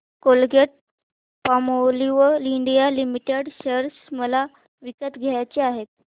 Colgate Palmolive India limited share मला विकत घ्यायचे आहेत